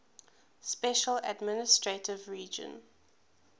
special administrative region